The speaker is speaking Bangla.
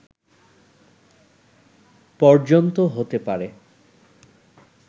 পর্যন্ত হতে পারে